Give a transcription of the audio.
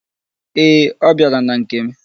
Ee, ọ bịara na nke m.